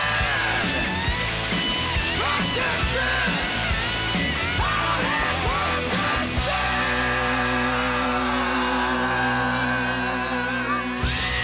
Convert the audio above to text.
við